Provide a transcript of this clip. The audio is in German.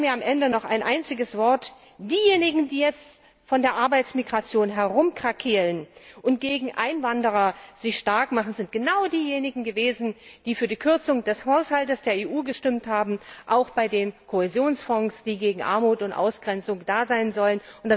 Erlauben Sie mir am Ende noch ein einziges Wort Diejenigen, die jetzt von der Arbeitsmigration herumkrakeelen und sich gegen Einwanderer starkmachen, sind genau diejenigen gewesen, die für die Kürzung des Haushalts der EU gestimmt haben, auch bei den Kohäsionsfonds, die gegen Armut und Ausgrenzung da sein sollen.